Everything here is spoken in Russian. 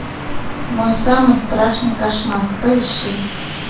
мой самый страшный кошмар поищи